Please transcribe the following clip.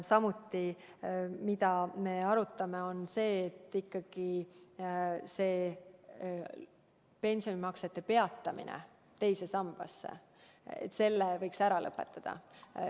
Samuti oleme arutanud, et teise sambasse pensionimaksete tegemise peatamise võiks ära lõpetada.